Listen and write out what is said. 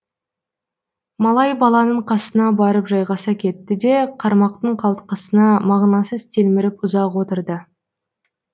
малай баланың қасына барып жайғаса кетті де қармақтың қалтқысына мағынасыз телміріп ұзақ отырды